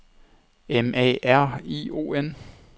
M A R I O N